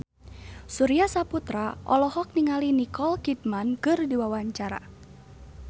Surya Saputra olohok ningali Nicole Kidman keur diwawancara